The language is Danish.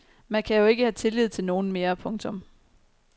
Man kan jo ikke have tillid til nogen mere. punktum